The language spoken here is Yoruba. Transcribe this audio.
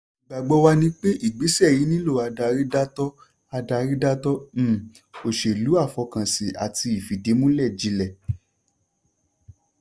ìgbàgbọ́ wa ni pé ìgbésẹ̀ yìí nílò adarí dáátọ́ adarí dáátọ́ um òṣèlú àfọkànsìn àti ìfìdímúlẹ̀ jilẹ̀.